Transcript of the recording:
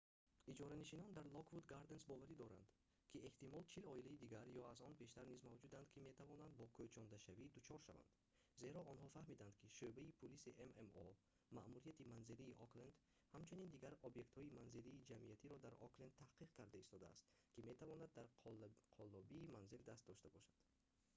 иҷоранишинон дар lockwood gardens боварӣ доранд ки эҳтимол 40 оилаи дигар ё аз он бештар низ мавҷуданд ки метавонанд бо кӯчондашавӣ дучор шаванд зеро онҳо фаҳмиданд ки шӯъбаи пулиси ммо маъмурияти манзилии окленд ҳамчунин дигар объектҳои манзилии ҷамъиятиро дар окленд таҳқиқ карда истодааст ки метавонанд дар қаллобии манзил даст дошта бошанд